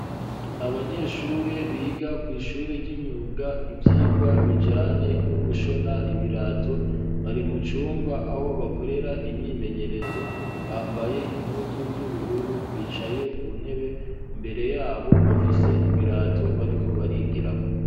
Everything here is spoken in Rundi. abanyeshure biga kw,ishuri y'imyuga ivyigwa bijanye no gushona ibirato bari mu cumba aho bakorera imyimenyerezo bambaye impuzu z'ubururu bicaye ku ntebe imbere yabo bafise ibirato bariko barigirako.